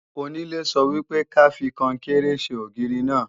Onílé sọ wípé ka fi Kọnkéré ṣe ògiri náà